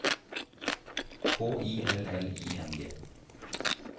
K Y L L I N G